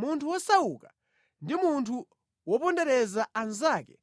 Munthu wosauka ndi munthu wopondereza anzake